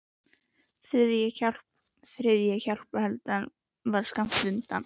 Og þriðja hjálparhellan var skammt undan.